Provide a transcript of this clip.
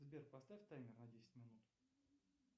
сбер поставь таймер на десять минут